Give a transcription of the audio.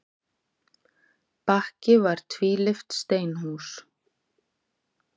Bakki var tvílyft steinhús.